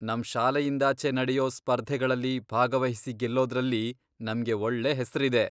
ನಮ್ ಶಾಲೆಯಿಂದಾಚೆ ನಡೆಯೋ ಸ್ಪರ್ಧೆಗಳಲ್ಲಿ ಭಾಗವಹಿಸಿ ಗೆಲ್ಲೋದ್ರಲ್ಲಿ ನಮ್ಗೆ ಒಳ್ಳೆ ಹೆಸ್ರಿದೆ.